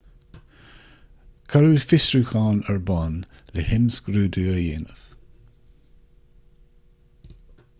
cuireadh fiosrúchán ar bun le himscrúdú a dhéanamh